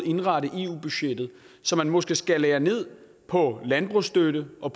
indrette eu budgettet så man måske skalerer ned på landbrugsstøtte og